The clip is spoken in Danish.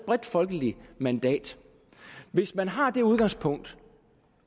bredt folkeligt mandat hvis man har det udgangspunkt